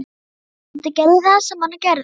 Baldur gerði það sem hann gerði.